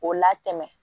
K'o latɛmɛ